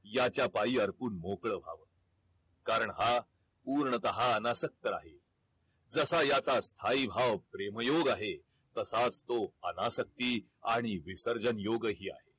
याच्या पायी अर्पून मोकळ व्हा कारण हा पूर्णतः अनासक्त आहे जसा याचा स्थायी भाव प्रेम योग आहे तसाच तो अनासक्ती आणि विसर्जन योगही आहे